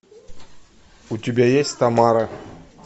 у тебя есть тамара